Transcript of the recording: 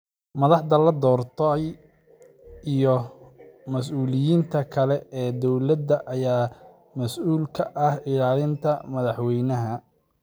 Madaxda la doortay iyo mas’uuliyiinta kale ee dowladda ayaa mas’uul ka ah ilaalinta madaxweynaha.